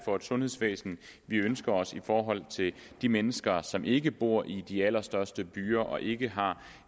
for et sundhedsvæsen vi ønsker os i forhold til de mennesker som ikke bor i de allerstørste byer og ikke har